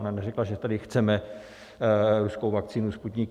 Ona neřekla, že tady chceme ruskou vakcínu Sputnik